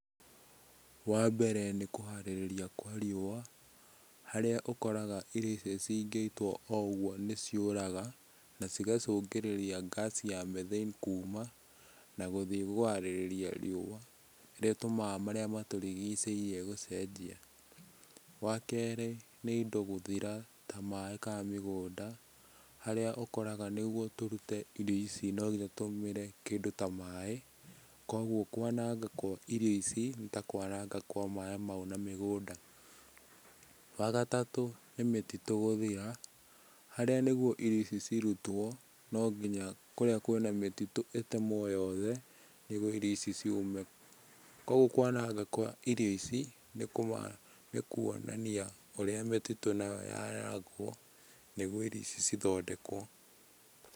Wambere nĩ kũharĩrĩria kwa riũa, harĩa ũkoraga irio icio cingĩitwo o ũguo nĩ ciũraga na cigacũngĩrĩria ngaci ya methane kuma na gũthiĩ kũharĩrĩria riũa, ĩrĩa ĩtũmaga marĩa matũrigicĩirie gũcenjia. Wa kerĩ nĩ indo gũthira ta maĩ kana mĩgũnda, harĩa ũkoraga nĩguo tũrute irio ici no nginya ũtũmĩre kĩndũ ta maĩ, koguo kwananga kwa irio ici nĩ ta kwananga kwa maĩ mau na mĩgũnda. Wa gatatũ nĩ mĩtitũ gũthira, harĩa nĩguo irio ici cirutwo, no nginya kũrĩa kwĩna mĩtitũ ĩtemwo yothe, nĩguo irio ici ciume. Koguo kwananga kwa irio ici, nĩ kuonania ũrĩa mĩtitũ nayo nĩguo irio ici cithondekwo.